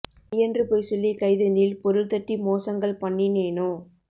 மெய்யென்று பொய் சொல்லி கைதனில் பொருள் தட்டி மோசங்கள் பண்ணினேனோ